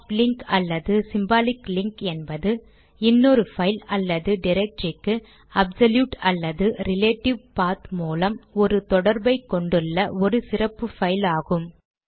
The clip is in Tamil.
சாப்ட் லிங்க் அல்லது சிம்பாலிக் லிங்க் என்பது இன்னொரு பைல் அல்லது டிரக்டரிக்கு அப்சொலூட் அல்லது ரிலேடிவ் பாத் மூலம் ஒரு தொடர்பை கொண்டுள்ள ஒரு சிறப்பு பைல் ஆகும்